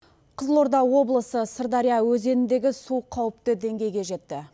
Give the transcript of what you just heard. қызылорда облысы сырдария өзеніндегі су қауіпті деңгейге жетті